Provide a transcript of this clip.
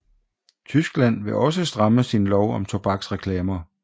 Tyskland vil også stramme sin lov om tobaksreklamer